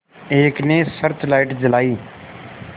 एक ने search light जलाई